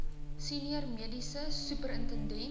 senior mediese superintendent